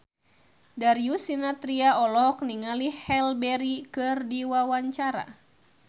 Darius Sinathrya olohok ningali Halle Berry keur diwawancara